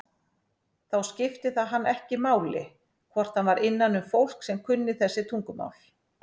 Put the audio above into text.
Þá skipti það hann ekki máli hvort hann var innanum fólk sem kunni þessi tungumál.